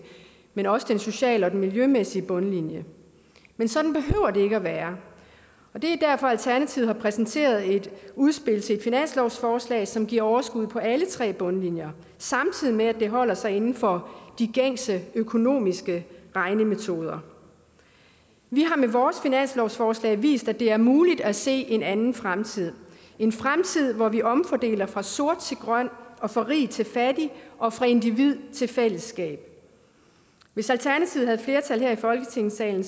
men også på den sociale og den miljømæssige bundlinje men sådan behøver det ikke at være det er derfor alternativet har præsenteret et udspil til et finanslovsforslag som giver overskud på alle tre bundlinjer samtidig med det holder sig inden for de gængse økonomiske regnemetoder vi har med vores finanslovsforslag vist at det er muligt at se en anden fremtid en fremtid hvor vi omfordeler fra sort til grøn fra rig til fattig og fra individ til fællesskab hvis alternativet havde flertal her i folketingssalen